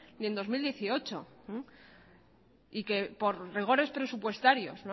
ni en el dos mil dieciocho y por rigores presupuestarios